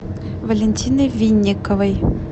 валентины винниковой